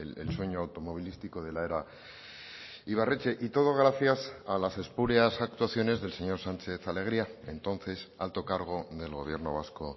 el sueño automovilístico de la era ibarretxe y todo gracias a las espurias actuaciones del señor sánchez alegría entonces alto cargo del gobierno vasco